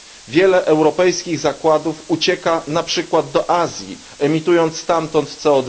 Wiele europejskich zakładów ucieka na przykład do Azji, emitując stamtąd CO